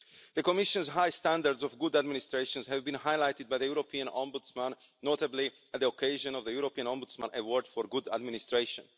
The Commission's high standards of good administration have been highlighted by the European Ombudsman, notably on the occasion of the European Ombudsman award for good administration.